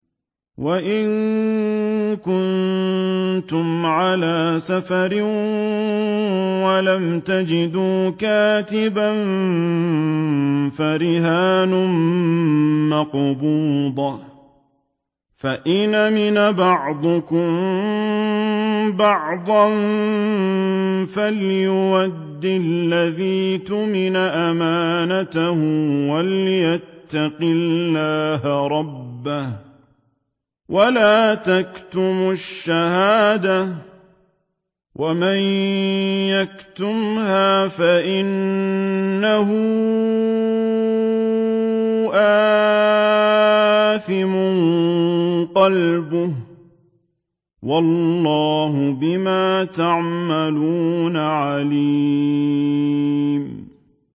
۞ وَإِن كُنتُمْ عَلَىٰ سَفَرٍ وَلَمْ تَجِدُوا كَاتِبًا فَرِهَانٌ مَّقْبُوضَةٌ ۖ فَإِنْ أَمِنَ بَعْضُكُم بَعْضًا فَلْيُؤَدِّ الَّذِي اؤْتُمِنَ أَمَانَتَهُ وَلْيَتَّقِ اللَّهَ رَبَّهُ ۗ وَلَا تَكْتُمُوا الشَّهَادَةَ ۚ وَمَن يَكْتُمْهَا فَإِنَّهُ آثِمٌ قَلْبُهُ ۗ وَاللَّهُ بِمَا تَعْمَلُونَ عَلِيمٌ